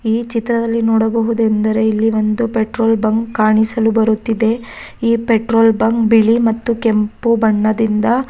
ಮತ್ತು ಇಲ್ಲಿ ಆಕಾಶವು ತುಂಬಾ ಚೆನ್ನಾಗಿ ಕಾಣಿಸಲು ಬರುತ್ತಿದೆ.